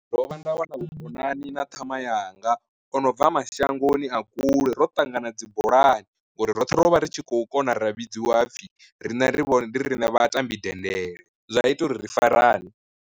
Ndo vha nda wana vhukonani na ṱhama yanga ono bva mashangoni a kule ro ṱangana dzi bolani, ngori roṱhe ro vha ri tshi khou kona ra vhidziwa hapfhi rine ri vhone riṋe vha tambi dendele zwa ita uri ri farane.